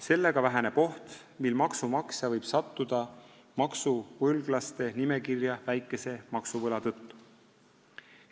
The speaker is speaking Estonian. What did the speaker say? Sellega väheneb oht, et maksumaksja võib sattuda maksuvõlglaste nimekirja väikese maksuvõla tõttu.